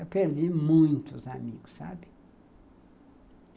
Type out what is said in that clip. Eu perdi muitos amigos, sabe?